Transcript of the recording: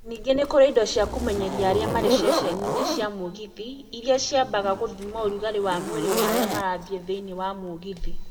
Ningĩ nĩ kũrĩ indo cia kũmenyeria arĩa marĩ ceceni-inĩ cia mũgithi, iria ciambaga gũthima ũrugarĩ wa mwĩrĩ wa arĩa marĩ thĩinĩ wa mũgithi.